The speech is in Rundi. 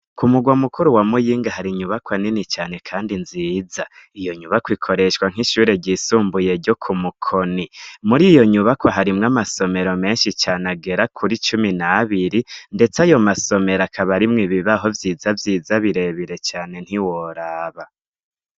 Ku mugwa mukuru wa muyinga hari inyubako anini cane, kandi nziza iyo nyubako ikoreshwa nk'ishure ryisumbuye ryo ku mukoni muri iyo nyubako harimwo amasomero menshi cane agera kuri icumi nabiri, ndetse ayo masomero akabarimwo ibibaaho vyiza vyiza birebire cane ntiworaba.